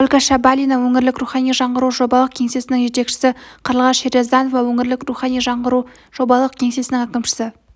ольга шабалина өңірлік рухани жаңғыру жобалық кеңсесінің жетекшісі қарлығаш шерьязданова өңірлік рухани жаңғыру жобалық кеңсесінің әкімшісі